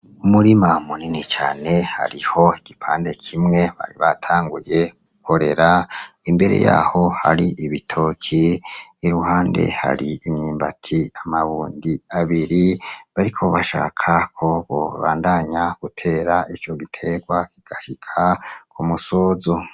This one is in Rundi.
Umurima munini cane hariho igipande kimwe bari batanguye gukorera. Imbere yaho hari ibitoki, iruhande hari imyumbati amabundi abiri bariko bashaka ko bobandanya gutera ico giterwa kigashika ku musozo.